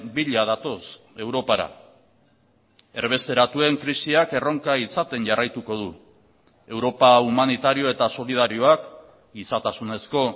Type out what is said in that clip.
bila datoz europara erbesteratuen krisiak erronka izaten jarraituko du europa humanitario eta solidarioak gizatasunezko